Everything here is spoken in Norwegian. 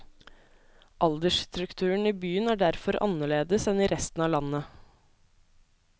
Aldersstrukturen i byen er derfor annerledes enn i resten av landet.